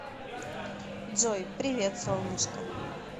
джой привет солнышко